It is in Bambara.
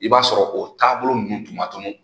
I b'a sɔrɔ o taabolo nunnu tun ma tunu